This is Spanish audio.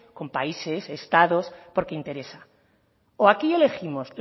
con países estados porque interesa o aquí elegimos